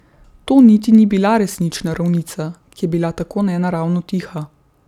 To niti ni bila resnična ravnica, ki je bila tako nenaravno tiha.